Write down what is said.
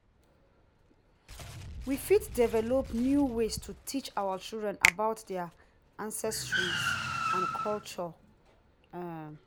we fit develop new ways to teach our children about their ancestry and culture. um